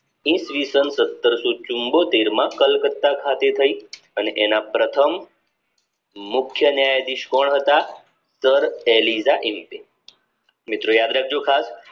ઈ. સ. સત્તરસો ચુમ્મોતેરમાં કલકત્તા ખાતે થઇ અને એના પ્રથમ મુખ્ય ન્યાયાઘીશ કોણ હતા sir એલિડા એડ઼ે મિત્રો યાદ રાખજો ખાસ